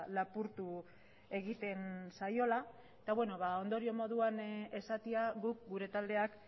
lapurtu egiten zaiola eta ondorio moduan esatea guk gure taldeak